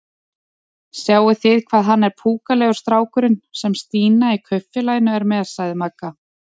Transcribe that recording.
Sjáið þið hvað hann er púkalegur strákurinn sem Stína í Kaupfélaginu er með? sagði Magga.